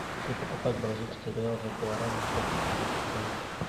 если покупать бразильский реал за гуарани сколько это будет стоить